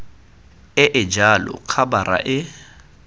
e e jalo khabara e